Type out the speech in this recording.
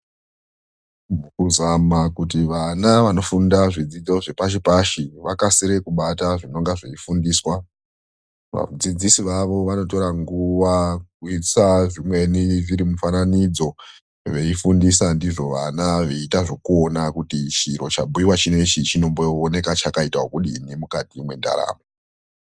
Kuzama kuti vana vanofunda zvidzidzo zvepashi pashi vakasire kubata zvinenge zveifundiswa. Vadzidzisi vavo vanotora nguwa kuisa zvimweni zvirimufananidzo veifundisa ndizvo vana veiita zvekuona kuti ichi chiro chabhuiwa chinechi chinombooneka chakaita ekudini mukati mwendaramo.